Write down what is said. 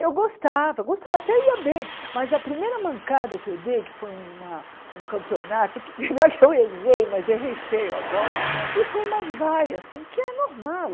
Eu gostava, gostava até ia bem, mas a primeira mancada que eu dei, que foi uma um campeonato, que eu errei, mas errei feio a bola, e foi uma vaia, assim, que é normal